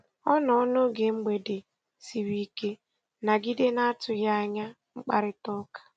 Ọ nọ n'oge mgbede siri ike nagide na atụghị anya mkparịtaụka.